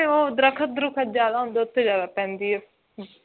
ਉਹ ਦਰਖਤ ਦੂਰਖਤ ਜਿਆਦਾ ਹੁੰਦੇ ਨੇ ਉੱਥੇ ਜ਼ਿਆਦਾ ਪੈਂਦੀ ਹੈ